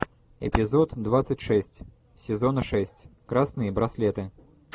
эпизод двадцать шесть сезона шесть красные браслеты